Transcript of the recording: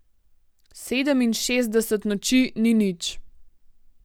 Sedeminšestdeset noči ni nič.